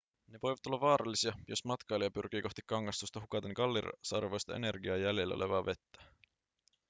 ne voivat olla vaarallisia jos matkailija pyrkii kohti kangastusta hukaten kallisarvoista energiaa ja jäljellä olevaa vettä